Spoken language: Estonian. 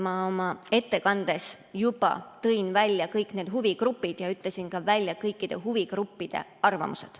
Ma oma ettekandes juba tõin välja kõik need huvigrupid ja ütlesin ka kõikide huvigruppide arvamused.